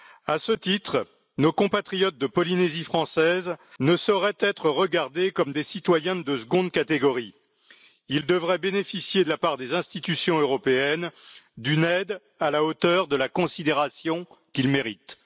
À ce titre, nos compatriotes de Polynésie française ne sauraient être regardés comme des citoyens de seconde catégorie et devraient bénéficier, de la part des institutions européennes, d'une aide à la hauteur de la considération qu'ils méritent.